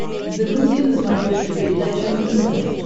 загрузи на смотрешке передачу нтв